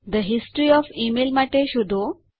the history of email માટે શોધો